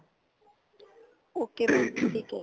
okay mam ਠੀਕ ਏ